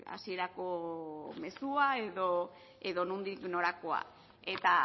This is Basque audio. hasierako mezua edo nondik norakoa eta